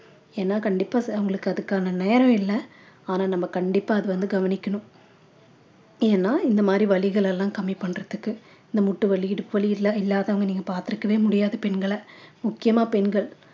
ஏன்னா கண்டிப்பா அவங்களுக்கு அதுக்கான நேரம் இல்ல ஆனா நம்ம கண்டிப்பா அத வந்து கவனிக்கணும் ஏன்னா இந்த மாதிரி வலிகளெல்லாம் கம்மி பண்றதுக்கு இந்த முட்டு வலி இடுப்பு வலி இல்ல~ இல்லாதவங்க நீங்க பார்த்திருக்கவே முடியாது பெண்களை முக்கியமா பெண்கள்